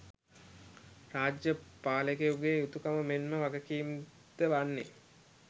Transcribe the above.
රාජ්‍ය පාලකයකුගේ යුතුකම මෙන්ම වගකීම් ද වන්නේ